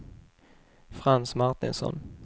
Frans Martinsson